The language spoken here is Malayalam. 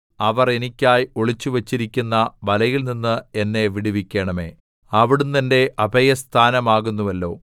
അവർ എനിക്കായി ഒളിച്ചുവച്ചിരിക്കുന്ന വലയിൽനിന്ന് എന്നെ വിടുവിക്കണമേ അവിടുന്ന് എന്റെ അഭയസ്ഥാനമാകുന്നുവല്ലോ